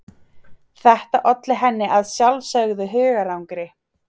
Þetta olli henni að sjálfsögðu hugarangri.